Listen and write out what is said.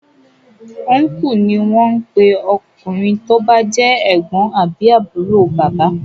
Uncle ní wón ń pé ọkùnrin tó bá jẹ́ ègbón àbí àbúrò bàbá.